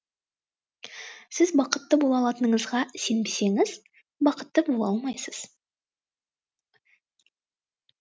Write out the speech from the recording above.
сіз бақытты бола алатыныңызға сенбесеңіз бақытты бола алмайсыз